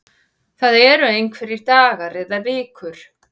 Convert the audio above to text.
Það eru einhverjir dagar eða vikur